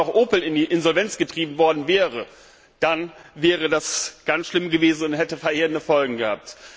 Wenn jetzt auch noch Opel in die Insolvenz getrieben worden wäre, dann wäre das ganz schlimm gewesen und hätte verheerende Folgen gehabt.